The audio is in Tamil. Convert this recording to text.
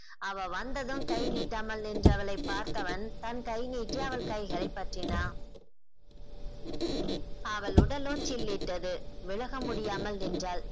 அவ வந்ததும் கை நீட்டாமல் நின்றவளை பார்த்தவன் தன் கைநீட்டி அவள் கைகளை பற்றினான் அவள் உடலோ சில்லிட்டது விலக முடியாமல் நின்றால்